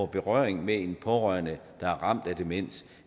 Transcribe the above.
berøring med en pårørende der er ramt af demens